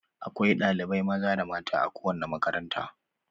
Akwai ɗalibai maza da mata a kowane makaranta.